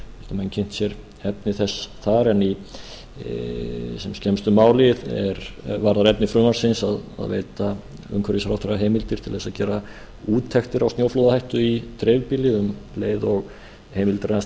menn kynnt sér efni þess þar en í sem skemmstu máli varðar efni frumvarpsins að veita umhverfisráðherra heimildir til að gera úttektir á snjóflóðahættu í dreifbýli um leið og heimildir hans